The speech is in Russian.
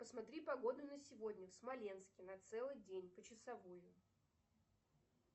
посмотри погоду на сегодня в смоленске на целый день почасовую